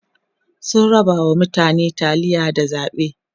sun rabawa mutane taliya da zaɓe